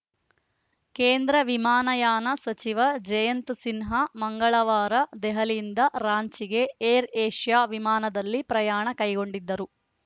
ಕೇಂದ್ರ ವಿಮಾನಯಾನ ಸಚಿವ ಜಯಂತ್‌ ಸಿನ್ಹಾ ಮಂಗಳವಾರ ದೆಹಲಿಯಿಂದ ರಾಂಚಿಗೆ ಏರ್‌ಏಷ್ಯಾ ವಿಮಾನದಲ್ಲಿ ಪ್ರಯಾಣ ಕೈಗೊಂಡಿದ್ದರು